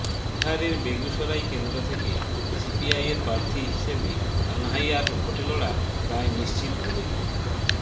বিহারের বেগুসরাই কেন্দ্র থেকে সিপিআইয়ের প্রার্থী হিসেবে কানহাইয়ার ভোটে লড়া প্রায় নিশ্চিত বলেই